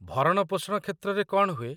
ଭରଣପୋଷଣ କ୍ଷେତ୍ରରେ କ'ଣ ହୁଏ?